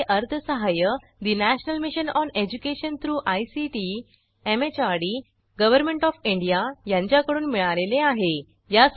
यासाठी अर्थसहाय्य national mission on education through ICT MHRD government of India यांच्याकडून मिळालेले आहे